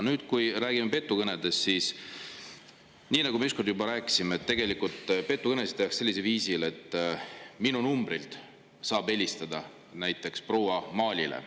Nüüd, kui räägime petukõnedest, siis nii nagu me ükskord juba rääkisime, petukõnesid tehakse sellisel viisil, et minu numbrilt saab helistada näiteks proua Maalile.